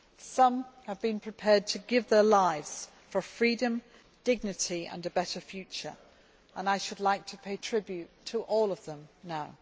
Some have been prepared to give their lives for freedom, dignity and a better future. I should like to pay tribute to all of them now.